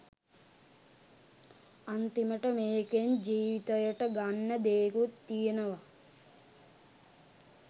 අන්තිමට මේකෙන් ජීවිතයට ගන්න දේකුත් තියනවා.